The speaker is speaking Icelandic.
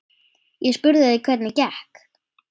Ég spurði þig hvernig gekk.